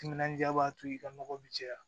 Timinandiya b'a to i ka nɔgɔ bɛ caya